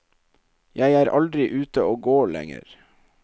Jeg er aldri ute og går lenger.